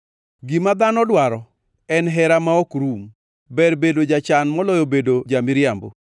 Gima dhano dwaro en hera ma ok rum, ber bedo jachan moloyo bedo ja-miriambo.